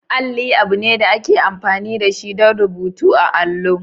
Alli abu ne da ake amfani da shi don rubutu da allo.